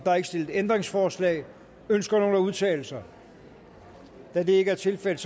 er ikke stillet ændringsforslag ønsker nogen at udtale sig da det ikke er tilfældet